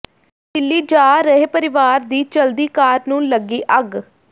ਦਿੱਲੀ ਜਾ ਰਹੇ ਪਰਿਵਾਰ ਦੀ ਚਲਦੀ ਕਾਰ ਨੂੰ ਲੱਗੀ ਅੱਗ